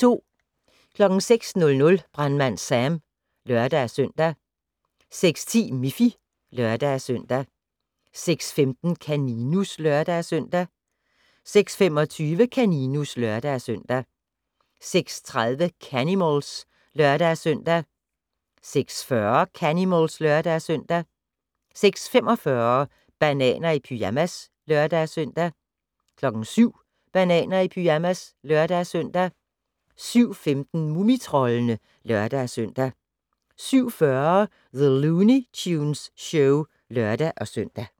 06:00: Brandmand Sam (lør-søn) 06:10: Miffy (lør-søn) 06:15: Kaninus (lør-søn) 06:25: Kaninus (lør-søn) 06:30: Canimals (lør-søn) 06:40: Canimals (lør-søn) 06:45: Bananer i pyjamas (lør-søn) 07:00: Bananer i pyjamas (lør-søn) 07:15: Mumitroldene (lør-søn) 07:40: The Looney Tunes Show (lør-søn)